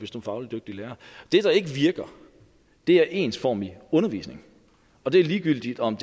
fagligt dygtig lærer det der ikke virker er ensformig undervisning og det er ligegyldigt om